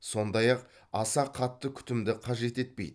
сондай ақ аса қатты күтімді қажет етпейді